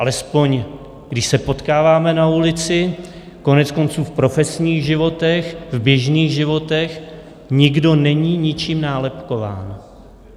Alespoň když se potkáváme na ulici, koneckonců v profesních životech, v běžných životech, nikdo není ničím nálepkován.